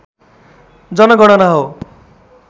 जनगणना हो